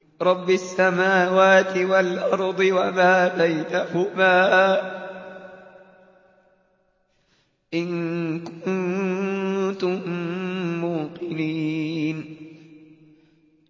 رَبِّ السَّمَاوَاتِ وَالْأَرْضِ وَمَا بَيْنَهُمَا ۖ إِن كُنتُم مُّوقِنِينَ